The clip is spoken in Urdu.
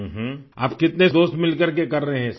آپ کتنے دوست مل کر کے کر رہے ہیں؟ یہ سب!